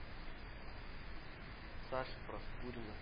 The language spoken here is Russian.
саши проскурина